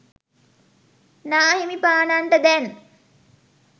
නාහිමිපාණන්ට දැන්